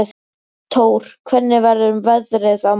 Tór, hvernig verður veðrið á morgun?